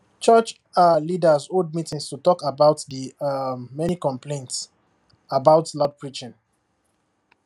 church um leaders hold meeting to talk about the um many complaints about loud preaching